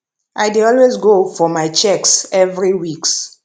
i dey always go for my checks every weeks